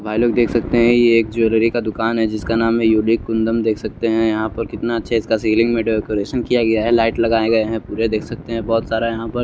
भाईलोग देख सकते है ये एक ज्वेलरी का दुकान है जिसका नाम है युदिक कुंदन देख सकते है यहा पर कितना अछे सीलिंग में डेकोरेशन किया गया है लाइट लगाये गये है पुरे देख सकते है बहोत सारा यहा पर--